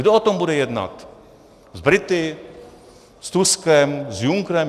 Kdo o tom bude jednat s Brity, s Tuskem, s Junckerem?